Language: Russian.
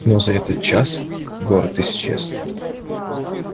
но за этот час город исчез